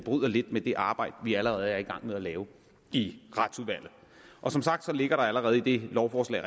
lidt med det arbejde vi allerede er i gang med at lave i retsudvalget og som sagt ligger der allerede i det lovforslag